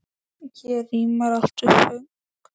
Hér rímar allt við föng.